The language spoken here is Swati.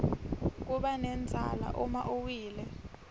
kubanendzala uma uwile